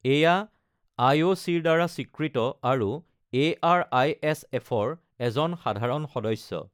এইয়া আই.অ'.চি-ৰ দ্বাৰা স্বীকৃত আৰু এ.আৰ.আই.এছ.এফ-ৰ এজন সাধাৰণ সদস্য।